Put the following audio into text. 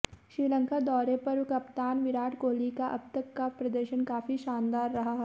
श्रीलंका दौरे पर कप्तान विराट कोहली का अब तक का प्रदर्शन काफी शानदार रहा है